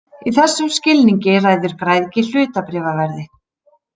Í þessum skilningi ræður græðgi hlutabréfaverði.